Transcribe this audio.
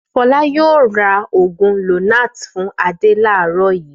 Fọlá yóò ra òògùn Lonart fún Adé láàárọ̀ yìí!